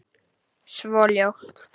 Svo ljótt.